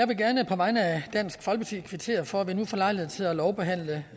vil gerne på vegne af dansk folkeparti kvittere for at vi nu får lejlighed til at lovbehandle